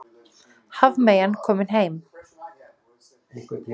Hafmeyjan komin heim